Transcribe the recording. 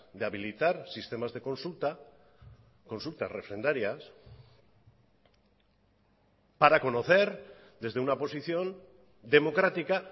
de habilitar sistemas de consulta consultas refrendarias para conocer desde una posición democrática